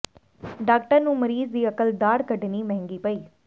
doctor ਨੂੰ ਮਰੀਜ਼ ਦੀ ਅਕਲ ਦਾੜ੍ਹ ਕੱਢਣੀ ਮਹਿੰਗੀ ਪਈ